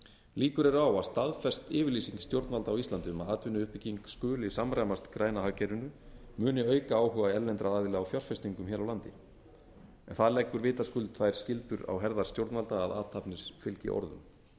líkur eru á að staðfest yfirlýsing stjórnvalda á íslandi um að atvinnuuppbygging skuli samræmast græna hagkerfinu muni auka áhuga erlendra aðila á fjárfestingum hér á landi það leggur vitaskuld þær skyldur á herðar stjórnvalda að athafnir fylgi orðum